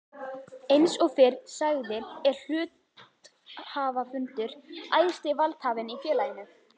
Eins og fyrr sagði er hluthafafundur æðsti valdhafinn í félaginu.